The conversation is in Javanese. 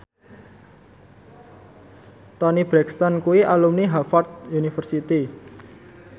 Toni Brexton kuwi alumni Harvard university